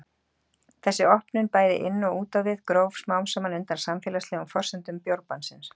Þessi opnun, bæði inn og út á við, gróf smám saman undan samfélagslegum forsendum bjórbannsins.